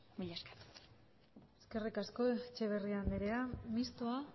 mila esker eskerrik asko etxeberria andrea mistoa